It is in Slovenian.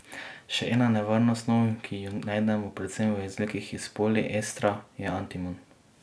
Še ena nevarna snov, ki jo najdemo predvsem v izdelkih iz poliestra je antimon.